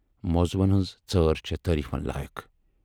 موضوٗہَن ہٕنز ژٲر چھے تٲریٖفن لایَق۔